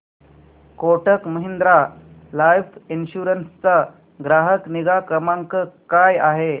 Kotak Mahindra life insurance चा ग्राहक निगा क्रमांक काय आहे